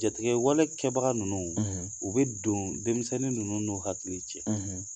jatigɛwalekɛbaga ninnu; ; U bɛ don denmisɛnnin ninnu n'u hakili cɛ; ;